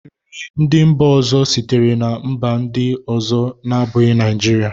nri ndị mba ọzọ sitere na mba ndị ọzọ na-abụghị Naijiria